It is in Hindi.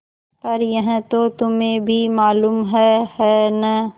पर यह तो तुम्हें भी मालूम है है न